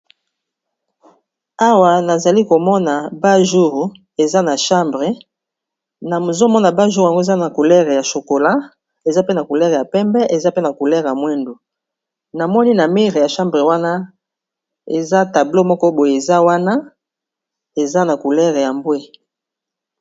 Awa nazali komona bajur eza na chambre na mozomona bajur yango eza na kolere ya chokola, eza pe na kolere ya pembe, eza pe na kolere mwendu na moni na mire ya chambre wana eza tablo moko boye eza wana eza na kolere ya mbwe.